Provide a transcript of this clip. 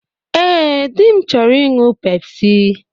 Ee, dị m chọrọ ịṅụ Pepsi.